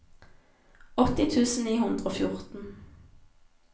åtti tusen ni hundre og fjorten